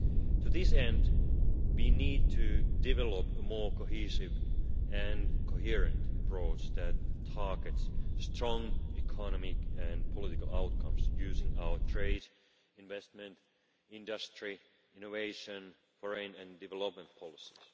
To this end, we need to develop a more cohesive and coherent approach that targets strong economic and political outcomes using our trade, investment, industry, innovation, foreign and development policies.